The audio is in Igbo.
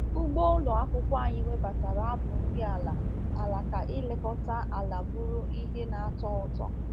Ugbo ụlọ akwụkwọ anyị webatara abụ nri ala ala ka ilekọta ala bụrụ ihe na-atọ ụtọ.